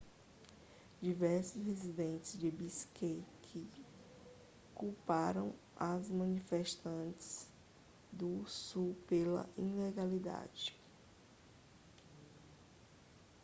diversos residentes de bishkek culparam os manifestantes do sul pela ilegalidade